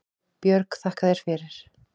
Björg: Þakka þér fyrir